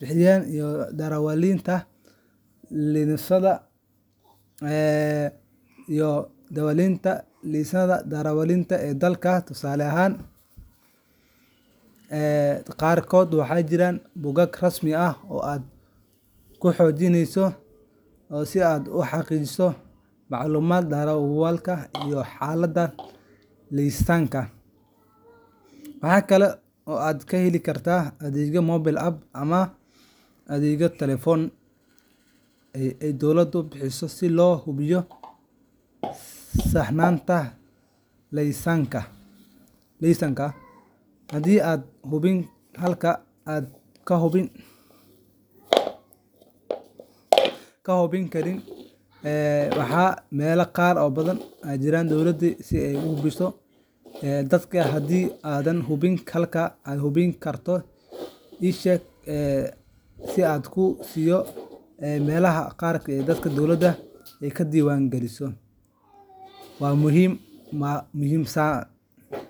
bixinta iyo diiwaangelinta laysannada darawalnimada ee dalkaaga. Tusaale ahaan, dalalka qaarkood waxaa jira bogag rasmi ah oo aad ku gali karto lambarka laysanka si aad u xaqiijiso macluumaadka darawalka iyo xaaladda laysanka. Waxa kale oo aad ka heli kartaa adeegyo mobile app ama adeegyo taleefan oo ay dowladdu bixiso si loo hubiyo saxnaanta laysanka. Haddii aadan hubin halka aad ka hubin karto, ii sheeg dalka aad joogto, waa muhim saaan.